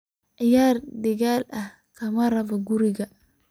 Ciyar digal eh kamarabo kurigan.